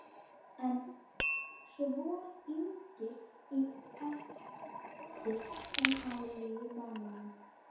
En svo þyngir í eftir sem á líður mánuðinn?